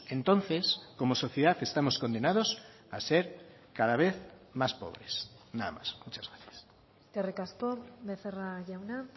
entonces como sociedad estamos condenados a ser cada vez más pobres nada más muchas gracias eskerrik asko becerra jauna